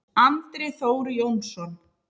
Andri Þór Jónsson